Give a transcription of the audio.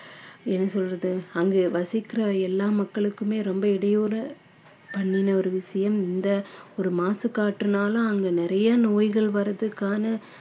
என்ன சொல்றது அங்கே வசிக்கிற எல்லா மக்களுக்குமே ரொம்ப இடையூறு பண்ணின ஒரு விஷயம் இந்த ஒரு மாசுக் காற்றுனால அங்கே நிறைய நோய்கள் வர்றதுக்கான